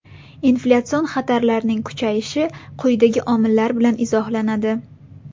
Inflyatsion xatarlarning kuchayishi quyidagi omillar bilan izohlanadi.